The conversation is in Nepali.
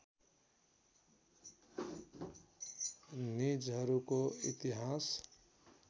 निजहरूको इतिहास